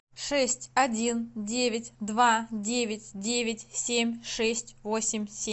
шесть один девять два девять девять семь шесть восемь семь